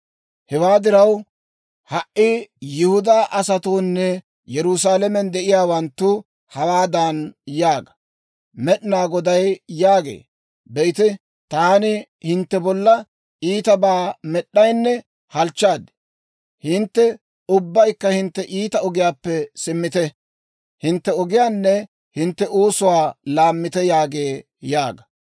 «Hewaa diraw, ha"i Yihudaa asatoonne Yerusaalamen de'iyaawanttu hawaadan yaaga; Med'inaa Goday yaagee; Be'ite, taani hintte bolla iitabaa med'd'aynne halchchaad. Hintte ubbaykka hintte iita ogiyaappe simmite; hintte ogiyaanne hintte oosuwaa laammite yaagee yaaga.